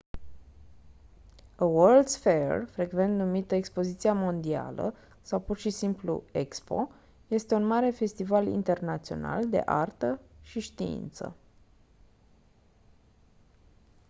a world's fair frecvent numită expoziția mondială sau pur și simplu expo este un mare festival internațional de artă și știință